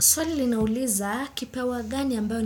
Swali linauliza kipawa gani ambayo